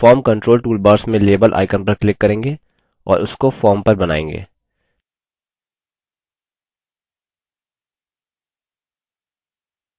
हम form controls toolbar में label icon पर click करेंगे और उसको form पर बनाएँगे